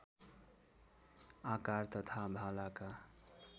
आकार तथा भालाका